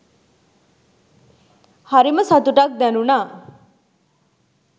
හරිම සතුටක් දැනුනා